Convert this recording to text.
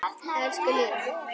Elsku Lína.